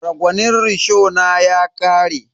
Ragwanin rishona ya ƙare.